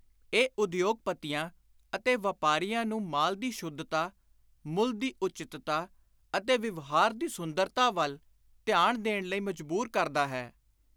ਇਹ ਉਦਯੋਗਪਤੀਆਂ ਅਤੇ ਵਾਪਾਰੀਆਂ ਨੂੰ ਮਾਲ ਦੀ ਸ਼ੁੱਧਤਾ, ਮੁੱਲ ਦੀ ਉਚਿੱਤਤਾ ਅਤੇ ਵਿਵਹਾਰ ਦੀ ਸੁੰਦਰਤਾ ਵੱਲ ਧਿਆਨ ਦੇਣ ਲਈ ਮਜਬੁਰ ਕਰਦਾ ਹੈ।